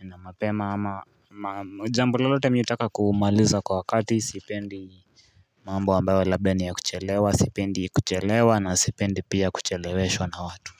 na mapema ama jambo lolote mimi nataka kumaliza kwa wakati sipendi mambo ambayo labda ni ya kuchelewa sipendi kuchelewa na sipendi pia kucheleweshwa na watu.